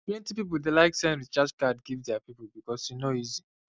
plenty people dey like send recharge card give their people because e easy